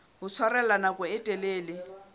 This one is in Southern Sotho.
ho tshwarella nako e telele